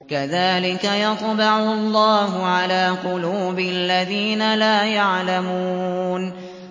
كَذَٰلِكَ يَطْبَعُ اللَّهُ عَلَىٰ قُلُوبِ الَّذِينَ لَا يَعْلَمُونَ